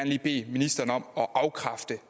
lige bede ministeren om at afkræfte